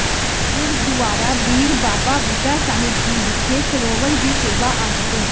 ਗੁਰਦੁਆਰਾ ਬੀੜ ਬਾਬਾ ਬੁੱਢਾ ਸਾਹਿਬ ਜੀ ਵਿਖੇ ਸਰੋਵਰ ਦੀ ਸੇਵਾ ਅੱਜ ਤੋਂ